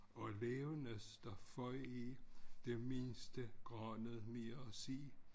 Og et vævenes der føg i det mindste grønnet mere at se